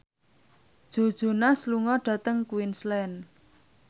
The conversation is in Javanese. Joe Jonas lunga dhateng Queensland